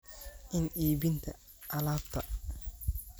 in iibinta alaabta